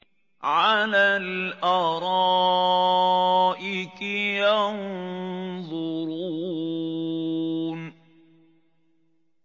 عَلَى الْأَرَائِكِ يَنظُرُونَ